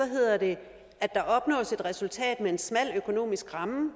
hedder det at der opnås et resultat med en smal økonomisk ramme og